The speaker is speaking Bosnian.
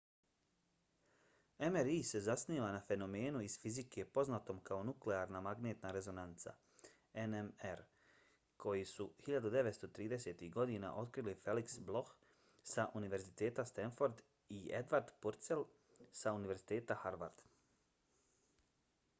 mri se zasniva na fenomenu iz fizike poznatom kao nuklearna magnetna rezonanca nmr koju su 1930-ih godina otkrili felix bloch sa univerziteta stanford i edward purcell sa univerziteta harvard